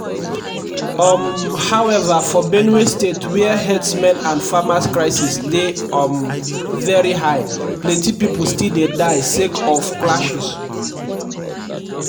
um however for benue state wia herdsmen and farmers crisis dey um veri high plenty pipo still dey die sake of clashes.